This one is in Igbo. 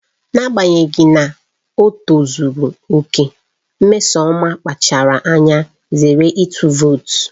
N'agbanyeghị na ọ tozuru oke, Nneoma kpachaara anya zere ịtụ vootu